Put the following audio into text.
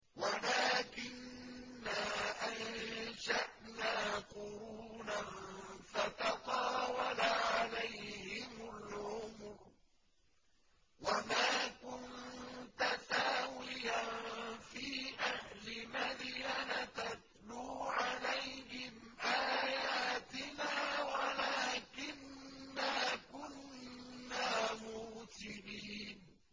وَلَٰكِنَّا أَنشَأْنَا قُرُونًا فَتَطَاوَلَ عَلَيْهِمُ الْعُمُرُ ۚ وَمَا كُنتَ ثَاوِيًا فِي أَهْلِ مَدْيَنَ تَتْلُو عَلَيْهِمْ آيَاتِنَا وَلَٰكِنَّا كُنَّا مُرْسِلِينَ